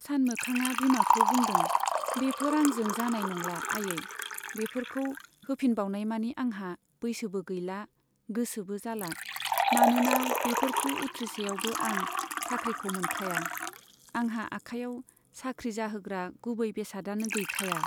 सानमोखांआ बिमाखौ बुंदों, बेफोर आंजों जानाय नंला आयै, बेफोरखौ होफिनबावनाइनि आंहा बैसोबो गैला, गोसोबो जाला, मानोना बेफोरखौ उथ्रिसेयावबो आं साख्रिखौ मोनखाया, आंहा आखायाव साख्रि जाहोग्रा गुबै बेसादआनो गैखाया।